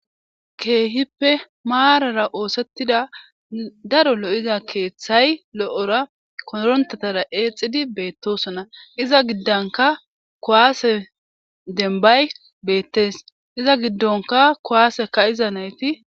keehippe maarara oosettida daro lo7iza keeththay lo7ora korontatara eexidi beettosona iza giddanka kuwaase denbay beettes iza giddonka kuwaaseka iza nayti